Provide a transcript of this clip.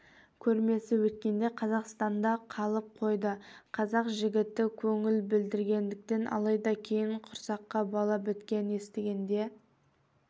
көрмесі өткенде қазақстанда қалып қойды қазақ жігіті көңіл білдіргендіктен алайда кейін құрсаққа бала біткенін естігенде